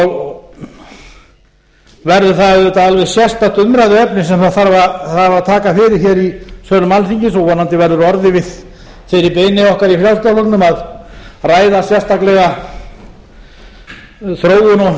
og verður það auðvitað alveg sérstakt umræðuefni sem þarf að taka fyrir í sölum alþingis og vonandi verður orðið við þeirri beiðni okkar í frjálslynda flokknum að ræða sérstaklega þróun og stærð þorskstofnsins